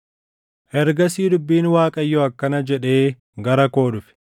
Ergasii dubbiin Waaqayyoo akkana jedhee gara koo dhufe;